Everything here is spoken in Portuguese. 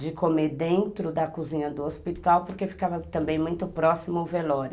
de comer dentro da cozinha do hospital, porque ficava também muito próximo o velório.